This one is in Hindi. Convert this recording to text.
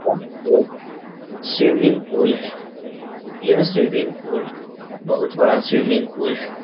यह एक स्विमिंग पूल है। यह स्विमिंग पूल बोहोत बड़ा स्विमिंग पूल है।